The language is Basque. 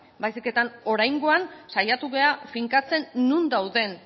baizik eta oraingoan saiatu gara finkatzen non dauden